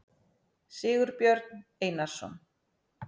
sigurbjörn einarsson